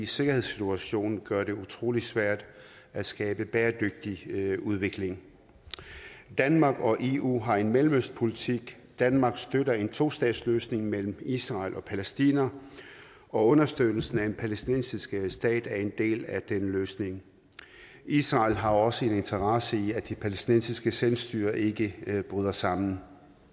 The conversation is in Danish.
sikkerhedssituationen gør det utrolig svært at skabe bæredygtig udvikling danmark og eu har en mellemøstpolitik danmark støtter en tostatsløsning mellem israel og palæstina og understøttelsen af en palæstinensisk stat er en del af den løsning israel har også en interesse i at det palæstinensiske selvstyre ikke bryder sammen